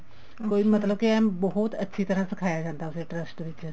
ਕੋਈ ਮਤਲਬ ਕੇ ਏਨ ਬਹੁਤ ਅੱਛੀ ਤਰ੍ਹਾਂ ਸਿਖਾਇਆ ਜਾਂਦਾ trust ਵਿੱਚ